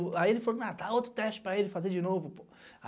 Aí ele falou, tá, outro teste para ele fazer de novo.